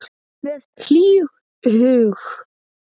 Með hlýhug.